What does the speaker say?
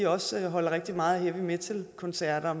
også holder rigtig meget af heavy metal koncerter og